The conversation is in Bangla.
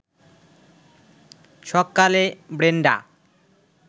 সকালে ব্রেনডা